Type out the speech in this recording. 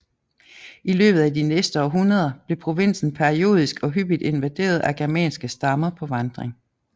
I løbet af de næste århundreder blev provinsen periodisk og hyppig invaderet af germanske stammer på vandring